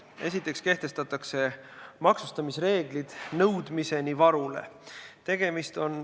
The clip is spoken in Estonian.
Esiteks kehtestatakse maksustamisreeglid nõudmiseni varule.